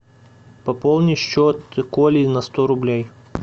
пополни счет коли на сто рублей